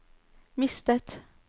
mistet